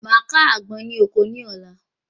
Màá ká àgbọn ní oko ní ọ̀la